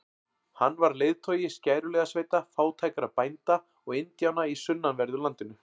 Hann var leiðtogi skæruliðasveita fátækra bænda og indjána í sunnanverðu landinu.